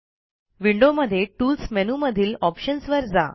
विंडोजमधे tools मेनूमधील options वर जा